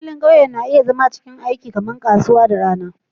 Filin ƙauye na iya zama cikin aiki kamar kasuwa da rana